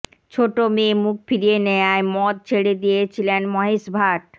ছোট মেয়ে মুখ ফিরিয়ে নেয়ায় মদ ছেড়ে দিয়েছিলেন মহেশ ভাট